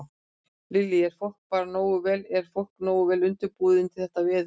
Lillý: Er fólk bara nógu vel, er fólk nógu vel undirbúið undir þetta veður?